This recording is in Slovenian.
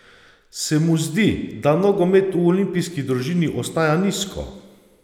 Se mu zdi, da nogomet v olimpijski družini ostaja nizko?